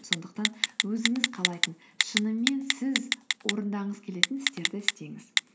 сондықтан өзіңіз қалайтын шынымен сіз орындағыңыз келетін істерді істеңіз